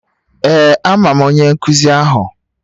Ee amam onye nkuzi ahu.